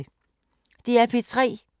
DR P3